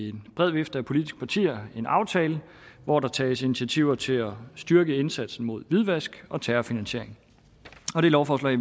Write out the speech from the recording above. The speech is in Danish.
en bred vifte af politiske partier en aftale hvor der tages initiativer til at styrke indsatsen mod hvidvask og terrorfinansiering det lovforslag